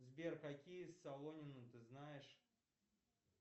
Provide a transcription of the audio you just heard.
сбер какие солонины ты знаешь